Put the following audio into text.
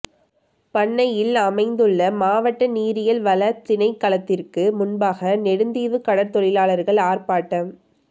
பண்ணையில் அமைந்துள்ள மாவட்ட நீரியல் வளத் திணைக்களத்திற்கு முன்பாக நெடுந்தீவு கடற்தொழிலாளர்கள் ஆர்ப்பாட்டம்